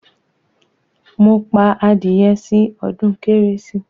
Mo pa adìyẹ sí odún kérésì